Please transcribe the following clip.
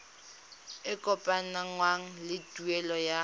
e kopanngwang le tuelo ya